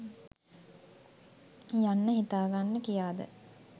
යන්න හිතාගන්න කියාද?